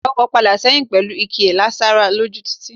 Awako padà sẹ́yìn pẹlu ìkí e sára lójú títì